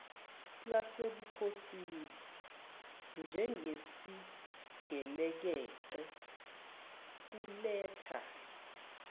lasebukhosini njengesigelekeqe kuletha